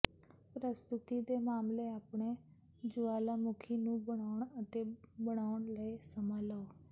ਪ੍ਰਸਤੁਤੀ ਦੇ ਮਾਮਲੇ ਆਪਣੇ ਜੁਆਲਾਮੁਖੀ ਨੂੰ ਬਣਾਉਣ ਅਤੇ ਬਣਾਉਣ ਲਈ ਸਮਾਂ ਲਓ